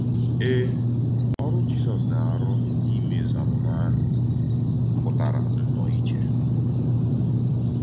Èe, Ọ́rụ́ Jízọs na-arù n’ímèzu àmùmà àhụ̀ pụtara nnọọ ìchè.